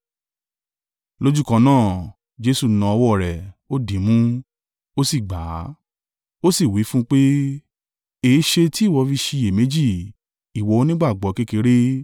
Lójúkan náà, Jesu na ọwọ́ rẹ̀, ó dìímú, ó sì gbà á. Ó sì wí fún un pé, “Èéṣe tí ìwọ fi ṣiyèméjì ìwọ onígbàgbọ́ kékeré?”